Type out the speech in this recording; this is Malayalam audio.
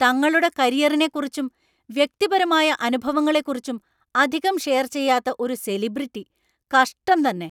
തങ്ങളുടെ കരിയറിനെക്കുറിച്ചും വ്യക്തിപരമായ അനുഭവങ്ങളെക്കുറിച്ചും അധികം ഷെയർ ചെയ്യാത്ത ഒരു സെലിബ്രിറ്റി! കഷ്ടം തന്നെ.